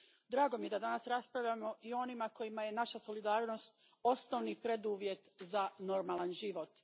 Drago mi je da danas raspravljamo i o onima kojima je naša solidarnost osnovni preduvjet za normalan život.